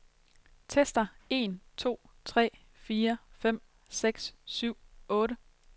Tester en to tre fire fem seks syv otte.